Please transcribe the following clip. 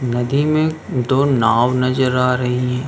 नदी में दो नाव नजर आ रही हैं।